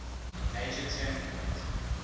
major turning point